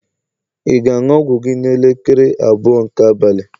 ị ga-aṅụ ọgwụ gị n'elekere abụọ nke abalị?